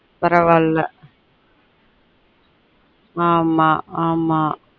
பரவாயில்ல ஆமா ஆமா பரவாயில்ல